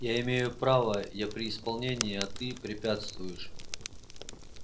я имею право я при исполнении а ты препятствуешь